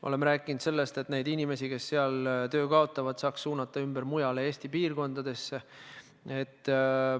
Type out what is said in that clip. Oleme rääkinud sellest, et neid inimesi, kes seal töö kaotavad, saaks suunata mujale Eesti piirkondadesse.